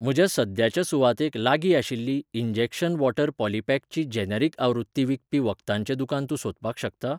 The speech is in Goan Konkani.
म्हज्या सद्याच्या सुवातेक लागीं आशिल्ली इंजेक्शन वॉटर पॉलीपॅकची जेनेरिक आवृत्ती विकपी वखदांचें दुकान तूं सोदपाक शकता?